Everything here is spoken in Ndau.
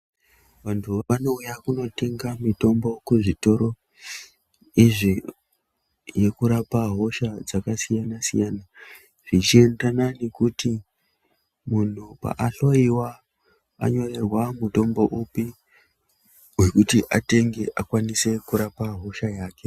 Vantu vanouya kunotenga mitombo kuzvitoro izvi, yekurapa hosha dzakasiyana-siyana, zvichienderana nekuti munhu paahloyiwa anyorerwa mitombo upi, wekuti atenge akwanise kurapa hosha yake.